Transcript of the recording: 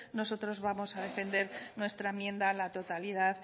nosotros vamos a defender nuestra enmienda a la totalidad